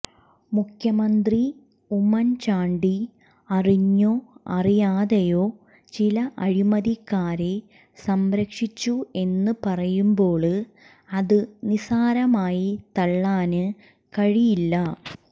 മുഖ്യമന്ത്രി ഉമ്മന്ചാണ്ടി അറിഞ്ഞോ അറിയാതെയോ ചില അഴിമതിക്കാരെ സംരക്ഷിച്ചു എന്ന് പറയുമ്പോള് അത് നിസ്സാരമായി തള്ളാന് കഴിയില്ല